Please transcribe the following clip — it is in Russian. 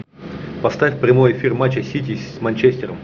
поставь прямой эфир матча сити с манчестером